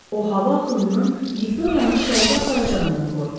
O hava axınının Viktoriyanı şərqə aparacağından qorxurdu.